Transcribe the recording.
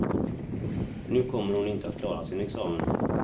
Nu kommer hon inte att klara sin examen.